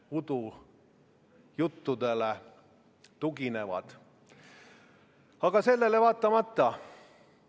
Ma palun seda ettepanekut, mis võimaldab omavalitsustel saada ühtlaselt osa teede investeeringute rahast, hääletada, ja mitte ainult hääletada, vaid ka toetada!